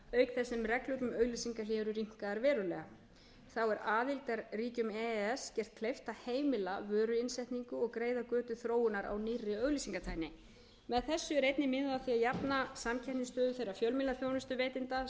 þess sem reglur um auglýsingahlé eru rýmkaðar verulega þá er aðildarríkjum e e s gert kleift að heimila vöruinnsetningu og greiða götu þróunar á nýrri auglýsingatækni með þessu er einnig miðað að því að jafna